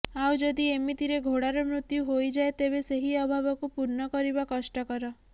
ଆଉ ଯଦି ଏମିତିରେ ଘୋଡାର ମୃତ୍ୟୁ ହୋଇଯାଏ ତେବେ ସେହି ଅଭାବକୁ ପୂର୍ଣ୍ଣ କରିବା କଷ୍ଟକର